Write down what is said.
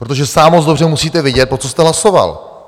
Protože sám dobře musíte vědět, pro co jste hlasoval.